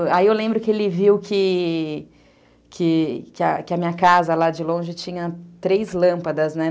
Aí eu lembro que ele viu que que a minha casa lá de longe tinha três lâmpadas, né?